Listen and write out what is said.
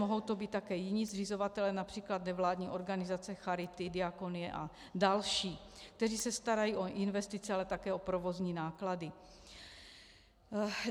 Mohou to být také jiní zřizovatelé, například nevládní organizace, charity, diakonie a další, kteří se starají o investice, ale také o provozní náklady.